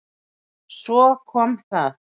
Svo kom það.